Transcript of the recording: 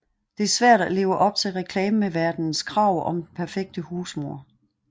Det er svært at leve op til reklameverdenens krav om den perfekte husmor